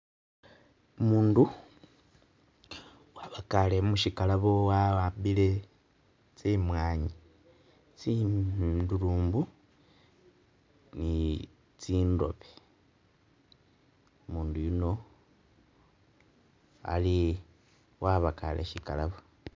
Umundu wabakaale musyikalabo wawambile tsimwaanyi, tsindurumbu ni tsindobe. Umundu yuno ali wabakaale syikalabo.